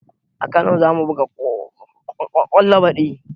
A kano zamu buga kwallo baɗi